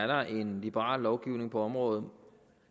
der er en liberal lovgivning på området